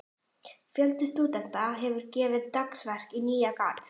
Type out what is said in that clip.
Fjöldi stúdenta hefur gefið dagsverk í Nýja-Garð.